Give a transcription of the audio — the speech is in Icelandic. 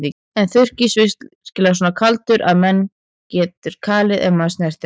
Er þurrís virkilega svo kaldur að mann getur kalið ef maður snertir hann?